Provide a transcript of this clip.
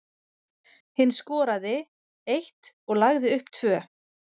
Hinn skoraði eitt og lagði upp tvö.